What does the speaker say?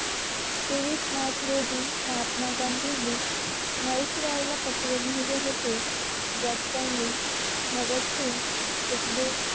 तेवीस मार्च रोजी महात्मा गांधींनी व्हॉइस रॉय ला पत्र लिहले होते. ज्यात त्यांनी भागात सिंग सुखदेव